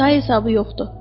Say hesabı yoxdur.